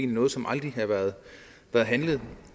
noget som aldrig har været handlet